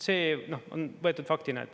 See on võetud faktina.